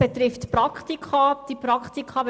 Betroffen wären Praktika.